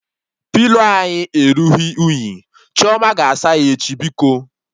Pilo anyị erughị unyi, Chioma ga-asa ya echi biko